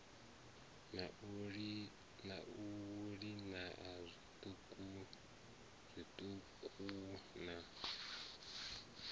na u liana zwiṱuku na